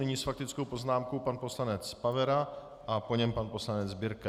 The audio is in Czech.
Nyní s faktickou poznámkou pan poslanec Pavera a po něm pan poslanec Birke.